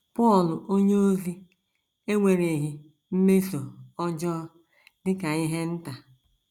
Pọl onyeozi ewereghị mmeso ọjọọ a dị ka ihe nta.